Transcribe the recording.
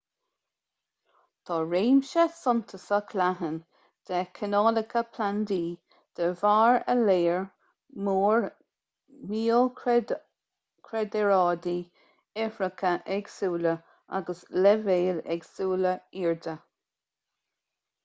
tá réimse suntasach leathan de chineálacha plandaí de bharr a léar mór miocraeráidí ithreacha éagsúla agus leibhéil éagsúla airde